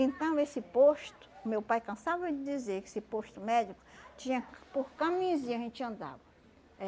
Então, esse posto, meu pai cansava de dizer que esse posto médico tinha, por caminhozinho a gente andava. Eh